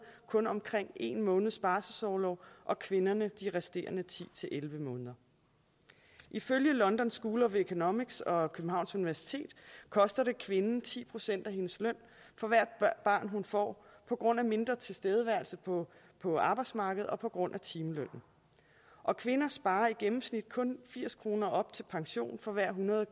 kun omkring en måneds barselsorlov og kvinderne de resterende ti til elleve måneder ifølge london school of economics og københavns universitet koster det kvinden ti procent af hendes løn for hvert barn hun får på grund af mindre tilstedeværelse på på arbejdsmarkedet og på grund af timelønnen og kvinder sparer i gennemsnit kun firs kroner op til pension for hver hundrede